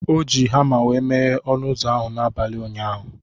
O ji hama wee meghe ọnụ ụzọ ahụ n'abalị ụnyaahụ.